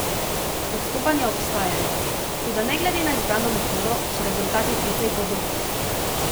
Odstopanja obstajajo, toda ne glede na izbrano metodo so rezultati precej podobni.